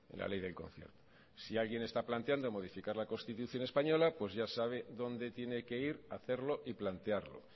la ley del concierto si alguien está planteando modificar la constitución española pues ya sabe a donde tiene que ir a hacerlo y plantearlo